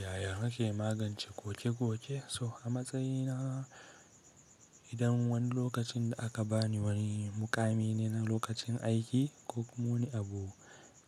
Yaya nake magance koke-koke? So a matsayina idan wani lokacin da aka bani wani mukami ne na lokacin aiki ko kuma wani abu